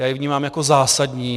Já ji vnímám jako zásadní.